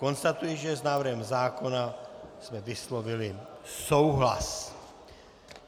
Konstatuji, že s návrhem zákona jsme vyslovili souhlas.